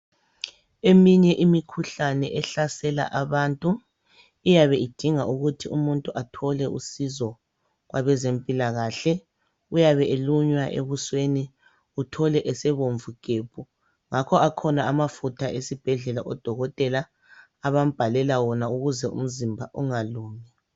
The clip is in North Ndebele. Eminye imikhuhlane ehlasela abantu iyabe idinga ukuthi umuntu athole usizo kwabezempilakahle. Uyabe elunywa ebusweni umthole esebomvu gebhu. Ngakho akhona amafutha esibhedlela odokotela abambhalela wona ukuze umzimba ungalunywa.